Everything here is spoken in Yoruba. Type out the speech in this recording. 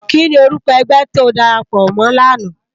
Kini órúkò ègbè ti ó dàrápò mò làná?